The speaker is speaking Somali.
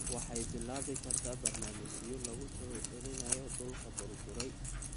Waxay bilaabi kartaa barnaamijyo lagu soo celinayo dhulka burburay.